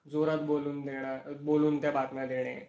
जोरात बोलून देणार, बोलून त्या बातम्या देणे